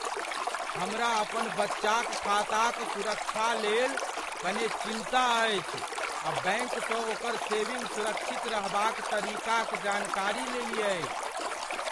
हमरा अपन बच्चाक खाताक सुरक्षाक लेल कने चिन्ता अछि आ बैंक स ओकर सेविंग सुरक्षित रहबा क तरीका क जानकारी लेलियै।